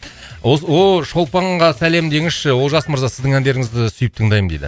ооо шолпанға сәлем деңізші олжас мырза сіздің әндеріңізді сүйіп тыңдаймын дейді